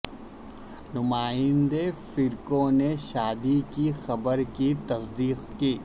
نمائندے فرکو نے شادی کی خبر کی تصدیق کی